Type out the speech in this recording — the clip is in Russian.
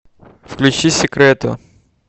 включи секрето